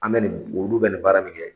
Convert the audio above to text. An bɛ nin olu bɛ nin baara min kɛ